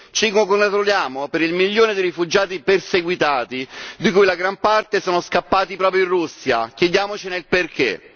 Ci congratuliamo per il milione di rifugiati perseguitati di cui la gran parte sono scappati proprio in Russia, chiediamocene il perché!